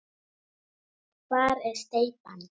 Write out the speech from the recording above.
Hvar er steypan?